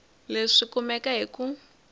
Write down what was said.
leswi swi kumeka hi ku